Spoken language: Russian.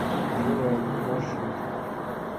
журавлик маршрут